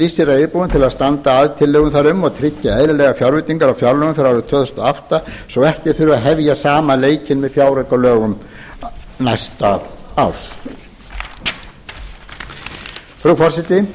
sig reiðubúinn til að standa að tillögum þar um og tryggja eðlilegar fjárveitingar í fjárlögum fyrir árið tvö þúsund og átta svo ekki þurfi að hefja sama leikinn með fjáraukalögum næsta árs frú forseti